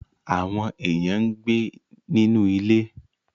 Àwọn èèyàn ń gbé nínú ilé